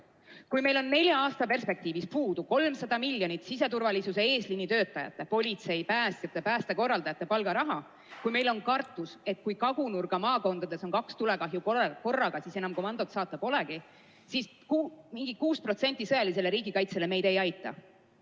Kui meil on nelja aasta perspektiivis puudu 300 miljonit siseturvalisuse eesliinitöötajate, politsei, päästjate, päästekorraldajate palgaraha, kui me kardame, et kui riigi kagunurga maakondades on kaks tulekahju korraga, siis enam teise juurde komandot saata polegi, siis mingi 6% sõjalisele riigikaitsele meid ei aita.